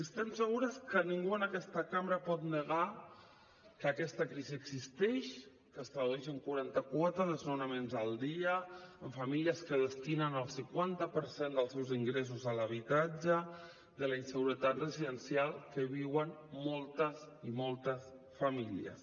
estem segures que ningú en aquesta cambra pot negar que aquesta crisi existeix que es tradueix en quaranta quatre desnonaments al dia en famílies que destinen el cinquanta per cent dels seus ingressos a l’habitatge de la inseguretat residencial que viuen moltes i moltes famílies